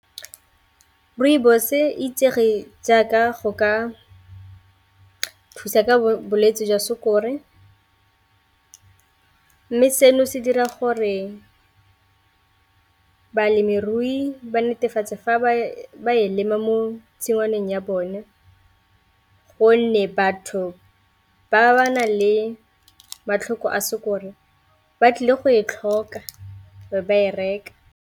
Rooibos e itsege jaaka go ka thusa bolwetse ka bolwetse jwa sukiri, mme seno se dira gore balemirui ba netefatse fa ba ba e lema mo tshingwaneng ya bone gonne batho ba ba na le matlhoko a sukiri ba tlile go e tlhoka be ba e reka.